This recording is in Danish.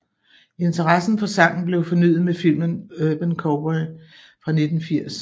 Interessen for sangen blev fornyet med filmen Urban Cowboy fra 1980